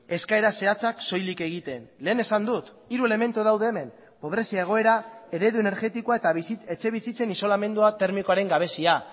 eskaera zehatzak soilik egiten lehen esan dut hiru elementudaude hemen pobrezia egoera eredu energetikoa eta etxebizitzen isolamendua termikoaren gabezia